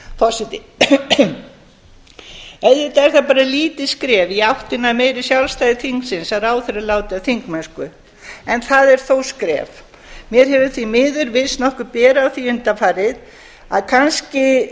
virðulegi forseti auðvitað er það bara lítið skref í áttina að meira sjálfstæði þingsins að ráðherra láti af þingmennsku en það er þó skref mér hefur því miður virst nokkuð bera á því undanfarið að kannski